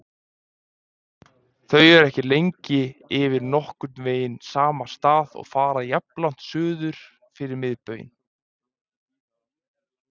Þau eru ekki lengi yfir nokkurn veginn sama stað og fara jafnlangt suður fyrir miðbaug.